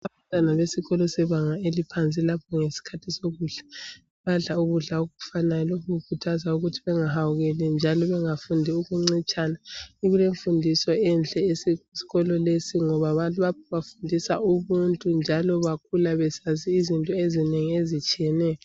Abantwana besikolo sebanga laphansi lapho ngesikhathi sokudla badla ukudla okufanayo , lokhu kukhuthaza ukuthi bengahawukeli njalo bengafundi ukuncitshana , kukemfundiso enhle eseskolo lesi ngoba bafundisa ubuntu njalo bakhula besazi izinto ezinengi ezitshiyeneyo